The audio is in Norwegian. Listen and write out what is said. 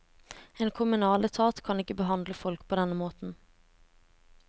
En kommunal etat kan ikke behandle folk på denne måten.